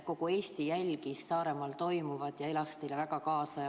Kogu Eesti jälgis Saaremaal toimuvat ja elas teile väga kaasa.